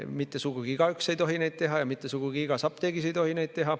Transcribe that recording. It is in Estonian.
Mitte sugugi igaüks ei tohi neid teha ja mitte sugugi igas apteegis ei tohi neid teha.